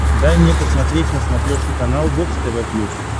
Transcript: дай мне посмотреть на смотрешке канал бокс тв плюс